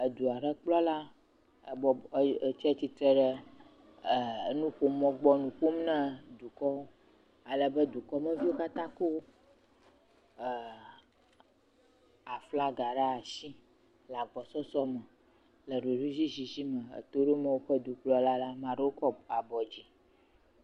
Edu aɖe akplɔ la, ebɔbɔ, atsitre ɖe enuƒomɔ gbɔ enu ƒom na dukɔwo. Alebe dukɔmeviwo eeee le aflaga ɖe asi le agbɔsɔsɔ me, le ɖokuiɖoɖi me le eto dom woƒe dukplɔla la. Ame aɖe kɔ woƒe dzi.